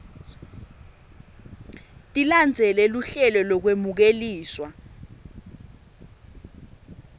tilandzele luhlelo lolwemukelekile